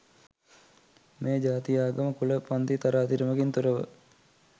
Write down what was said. මෙය ජාති, ආගම, කුල, පන්ති තරාතිරමකින් තොරව